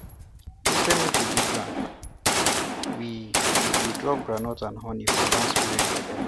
instead make we dig ground we we dey drop groundnut and honey for land spirit belle